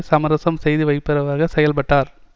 சமரசம் செய்து வைப்பவராக செயல்பட்டார்